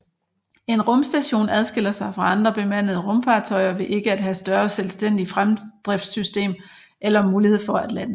En rumstation adskiller sig fra andre bemandede rumfartøjer ved ikke at have større selvstændig fremdriftssystem eller mulighed for at lande